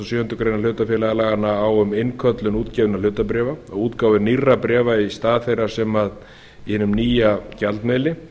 sjöundu grein hlutafélagalaganna á um innköllun útgefinna hlutabréfa og útgáfu nýrra bréfa í þeirra stað í hinum nýja gjaldmiðli